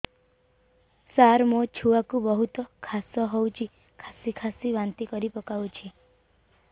ସାର ମୋ ଛୁଆ କୁ ବହୁତ କାଶ ହଉଛି କାସି କାସି ବାନ୍ତି କରି ପକାଉଛି